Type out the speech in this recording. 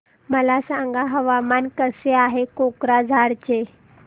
मला सांगा हवामान कसे आहे कोक्राझार चे